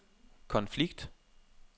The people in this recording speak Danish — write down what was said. konflikt